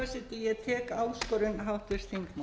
ég tek áskorun háttvirts þingmanns